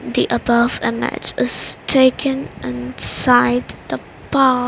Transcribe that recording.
the above image is taken inside the pa --